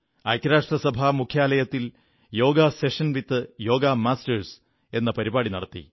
ഐക്യരാഷ്ട്രസഭാ മുഖ്യാലയത്തിൽ yoga session with yoga masters എന്ന പരിപാടി നടത്തി